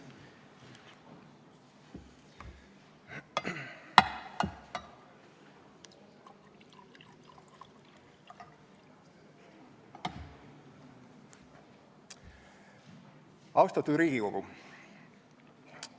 Austatud Riigikogu!